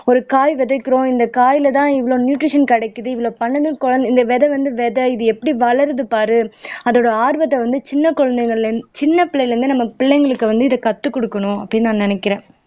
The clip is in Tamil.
ஒரு காய் விதைக்கிறோம் இந்த காய்லதான் இவ்வளவு நியூட்ரிஷன் கிடைக்குது இவ்வளவு பண்ணணும் கோ இந்த விதை வந்து விதை இது எப்படி வளருது பாரு அதோட ஆர்வத்தை வந்து சின்ன குழந்தைகள்ல இருந்து சின்ன பிள்ளையிலிருந்தே நம்ம பிள்ளைங்களுக்கு வந்து இதை கத்துக் கொடுக்கணும் அப்படின்னு நான் நினைக்கிறேன்